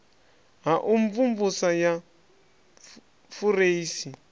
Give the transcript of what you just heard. ha u mvumvusa ya fureisi